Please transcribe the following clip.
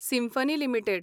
symphony limited